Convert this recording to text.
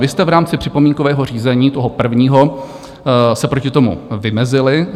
Vy jste v rámci připomínkového řízení, toho prvního, se proti tomu vymezili.